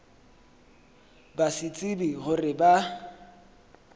ba se tsebe gore ba